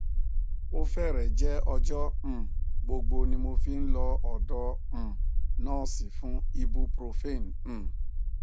ó fẹrẹẹ jẹ ọjọ um gbogbo ni mo fi ń lọ ọdọ um nọọsì fún ibuprofen um